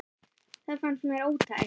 Það fannst mér ótækt.